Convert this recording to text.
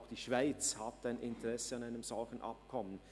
Auch die Schweiz hat ein Interesse an einem solchen Abkommen.